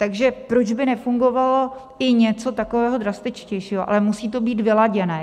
Takže proč by nefungovalo i něco takového drastičtějšího, ale musí to být vyladěné.